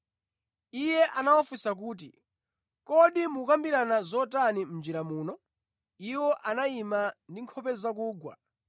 Iye anawafunsa kuti, “Kodi mukukambirana zotani mʼnjira muno?” Iwo anayima ndi nkhope zakugwa.